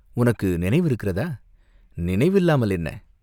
உனக்கு நினைவு இருக்கிறதா?" "நினைவு இல்லாமல் என்ன?